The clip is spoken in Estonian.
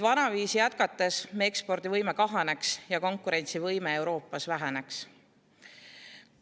Vanaviisi jätkates meie ekspordivõime kahaneks ja konkurentsivõime Euroopas väheneks.